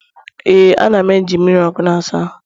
Ee, a na'm eji mmiri ọkụ na-asa ahụ.